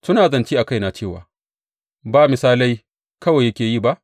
Suna zance a kaina cewa, Ba misalai kawai yake yi ba?